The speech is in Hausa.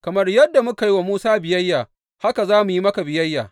Kamar yadda muka yi wa Musa biyayya, haka za mu yi maka biyayya.